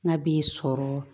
N'a b'i sɔrɔ